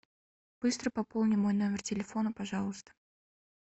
быстро пополни мой номер телефона пожалуйста